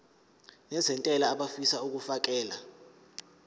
nezentela abafisa uukfakela